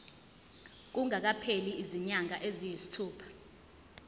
kungakapheli izinyanga eziyisithupha